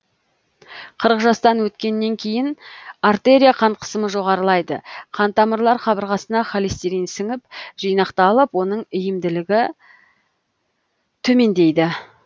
қырық жастан өткеннен кейін артерия қан қысымы жоғарылайды қан тамырлар қабырғасына холестерин сіңіп жинақталып оның иілімділігі төмендейді